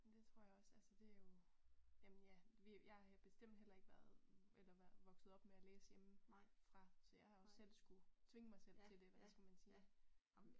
Men det tror jeg også altså det jo jamen ja vi jeg har bestemt heller ikke været eller vokset op med at læse hjemme fra så jeg har også selv skulle tvinge mig selv til det eller hvad skal man sige